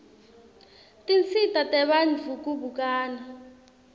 tinsita tebantfu kubukana